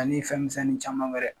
Anin fɛn misɛni caman wɛrɛ